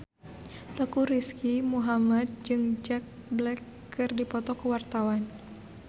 Teuku Rizky Muhammad jeung Jack Black keur dipoto ku wartawan